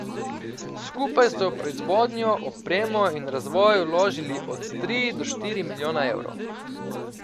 Skupaj so v proizvodnjo, opremo in razvoj vložili od tri do štiri milijona evrov.